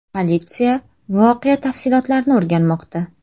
Politsiya voqea tafsilotlarini o‘rganmoqda.